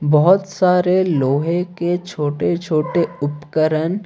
बहुत सारे लोहे के छोटे छोटे उपकरण--